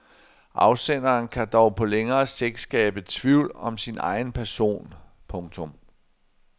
Afsenderen kan dog på længere sigt skabe tvivl om sin egen person. punktum